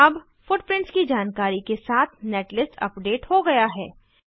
अब फुटप्रिंट्स की जानकारी के साथ नेटलिस्ट अपडेट हो गया है